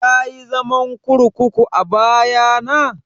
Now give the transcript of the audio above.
Kayi zaman kurkuku a baya na?